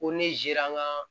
Ko ne zera n ga